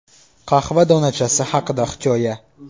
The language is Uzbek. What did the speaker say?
Qahva donachasi haqida hikoya.